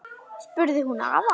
spurði hún afa.